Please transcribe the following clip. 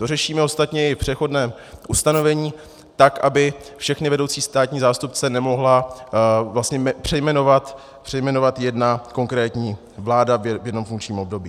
To řešíme ostatně i v přechodném ustanovení tak, aby všechny vedoucí státní zástupce nemohla přejmenovat jedna konkrétní vláda v jednom funkčním období.